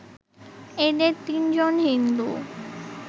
এঁদের তিনজন হিন্দু